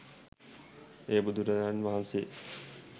එය බුදුරජාණන් වහන්සේ